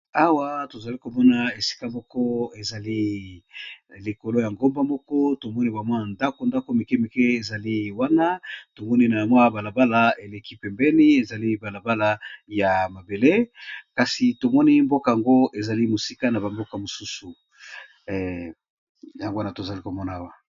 Awa tozali komona esika moko ezali likolo ya ngomba moko tomoni bamwana ndako ndako mike mike ezali wana tomoni na yamwa balabala eleki pembeni ezali balabala ya mabele kasi tomoni mboka yango ezali mosika na bamboka mosusu yango wana tozali komona awa.